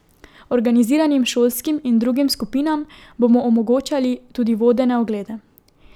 Organiziranim šolskim in drugim skupinam bomo omogočali tudi vodene oglede.